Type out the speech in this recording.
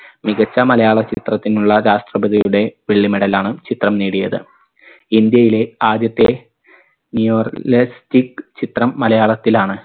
മികച്ച മലയാള ചിത്രത്തിനുള്ള രാഷ്ട്രപതിയുടെ വെള്ളി medal ലാണ് ചിത്രം നേടിയത് ഇന്ത്യയിലെ ആദ്യത്തെ new realistic ചിത്രം മലയാളത്തിലാണ്